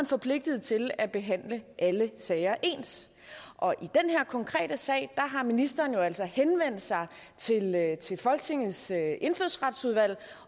forpligtet til at behandle alle sager ens og i den her konkrete sag har ministeren jo altså henvendt sig til folketingets indfødsretsudvalg